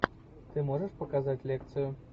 ты можешь показать лекцию